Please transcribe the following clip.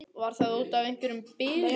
Var það út af einhverri bilun?